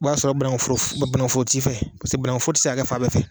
O b'a sɔrɔ bananku foro, bananku foro tigi fɛ pase bananku foro tɛ se ka kɛ fan bɛɛ fɛ.